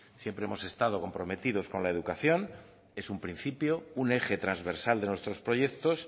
siempre hemos estado comprometidos con la educación es un principio un eje transversal de nuestros proyectos